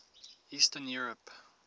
eastern europe